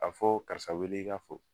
A fɔɔ karisa weele i ka fɔ